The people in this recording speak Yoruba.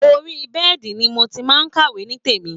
Orí bẹ́ẹ̀dì ni mo ti máa ń kàwé nítèmi